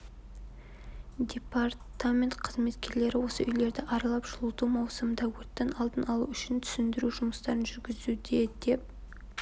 депатрамент қызметкерлері осы үйлерді аралап жылыту маусымында өрттің алдын алу үшін түсіндіру жұмыстарын жүргізуде деп